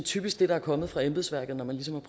typisk det der er kommet fra embedsværket når man ligesom